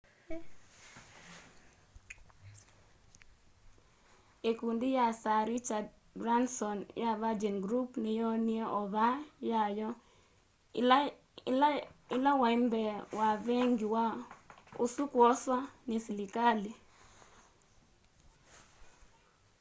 ikundi ya sir richard bransons ya virgin group niyoonie ova yayo iilewambee wa vengi usu kwoswa ni silikali